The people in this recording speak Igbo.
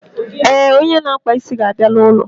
Eh, onye na akpa isi ga abịa na ụlọ